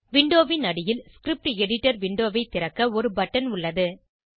விண்டோவின் அடியில் script editor விண்டோவை திறக்க ஒரு பட்டன் உள்ளது